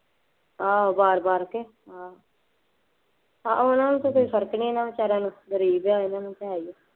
ਆਹੋ ਵਾਰ ਵਾਰ ਆਹੋ ਉਹਨਾ ਨੂੰ ਤਾਂ ਕੋਈ ਫਰਕ ਨਹੀਂ, ਇਹਨਾ ਨੂੰ ਬੇਚਾਰਿਆ ਨੂੰ ਗਰੀਬ ਜਿਹਾ ਇਹਨਾ ਨੂੰ ਤਾਂ ਹੈ ਹੀ